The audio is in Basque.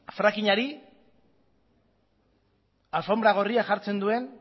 frackingari alfonbra gorria jartzen